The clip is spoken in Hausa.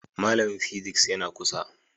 Malamin physics yana kusa